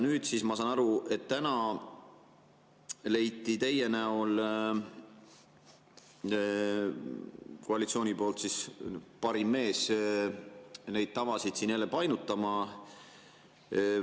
Nüüd siis ma saan aru, et täna leidis koalitsioon teie näol parima mehe neid tavasid siin jälle painutama.